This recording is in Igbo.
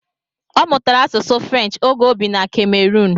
Ọ mụtara asusu Frenchi ógè o bị na Ka-meroon.